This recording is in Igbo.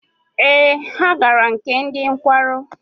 Ee, ha gara nke ndị nkwarụ.